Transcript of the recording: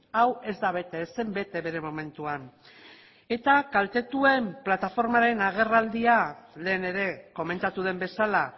hau ez da bete ez zen bete bere momentuan eta kaltetuen plataformaren agerraldia lehen ere komentatu den bezala